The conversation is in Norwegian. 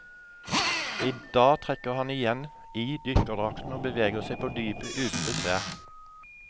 I dag trekker han igjen i dykkerdrakten og beveger seg på dypet uten besvær.